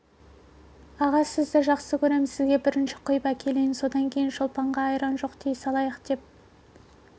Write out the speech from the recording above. аға сізді жақсы көрем сізге бірінші құйып әкелейін содан кейін шолпанға айран жоқ дей салайық деп